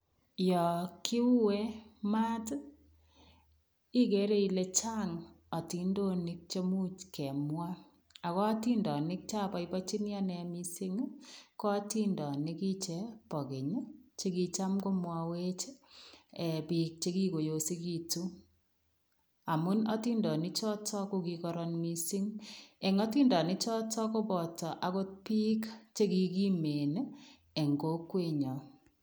Yo kiue mat ii, igere ile chang atindonik chemuch kemwa ago atindonik choboibochini anne mising, ko atindonikiche bo keny che kicham komwawech ee biik chekikoyosegitu amun atindonik choto ko kigororon mising. Eng atindonichoto kopoto agot biik che kigimen eng kokwenyo.